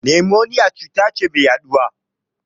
Nimoniya cuta ce mai yaɗuwa.